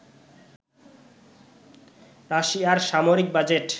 রাশিয়ার সামরিক বাজেট